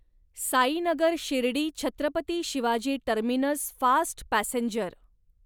Sainagar Shirdi Chhatrapati Shivaji terminus fast passenger